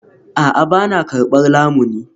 A'a, ba na karbar lamuni